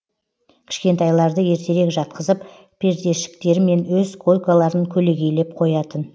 кішкентайларды ертерек жатқызып пердешіктермен өз койкаларын көлегейлеп қоятын